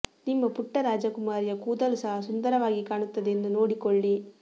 ನಿಮ್ಮ ಪುಟ್ಟ ರಾಜಕುಮಾರಿಯ ಕೂದಲು ಸಹ ಸುಂದರವಾಗಿ ಕಾಣುತ್ತದೆ ಎಂದು ನೋಡಿಕೊಳ್ಳಿ